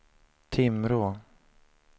Timrå